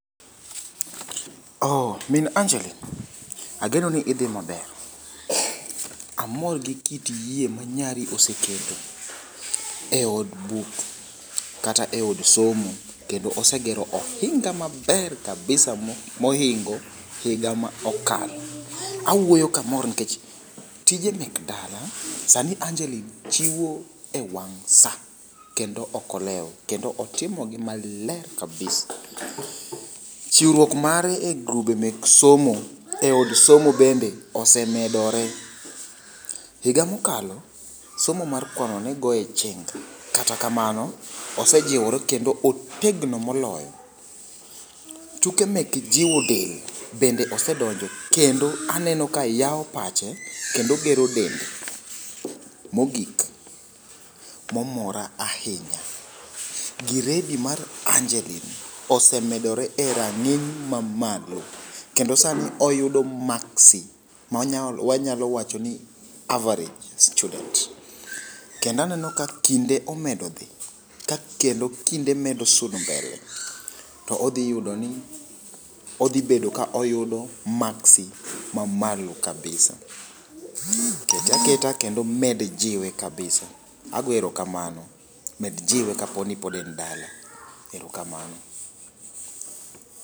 Oo min Anjelin, ageno ni idhi maber. Amor gi kit yie ma nyari oseketo e od buk kata eod somo kendo osegero ohinga maber kabisa mohingo higa mokalo . Awuoyo kamor nikech tije mek dala sani anjelin chiwo e wang' saa kendo ok olew kendo otimo gi maler kabisa . Chiwruok mare e grube mek somo e od somo bende osemedore . Higa mokalo somo mar kwano negoye chenga kata kamano osejiwore kendo otegno moloyo . tuke mek jiwo del osedonje kendo aneno ka yawo pache kendo gero dende. Mogik momora ahinya, giredi mar Anjelin osemedore e rang'iny mamalo kendo sani oyudo maksi manya mwanyalo wacho ni average student kendo aneno ka kinde omedo dhi ka kendo kinde medo sudo mbele odhi bedo koyudo maksi mamalo kabisa . Keta keta kendo med jiwe kabisa ago erokamano med jiwe kapo ni pod en dala erokamano.